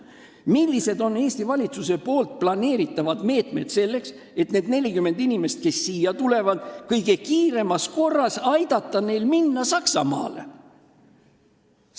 Millised on Eesti valitsuse plaanitavad meetmed selleks, et aidata neil 40 inimesel, kes siia tulevad, kõige kiiremas korras minna Saksamaale?